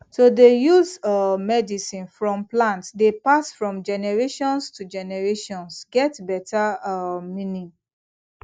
to dey use um medicine from plant dey pass from generations to generations get better um meaning